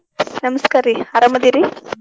ನಮಸ್ಕಾರಿ ಅರಾಮ ಅದೇರಿ?